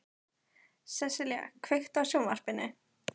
Sessilía, kveiktu á sjónvarpinu.